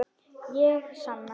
Ég sanna.